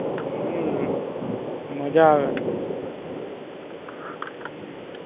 હમ મજા આવે. હમ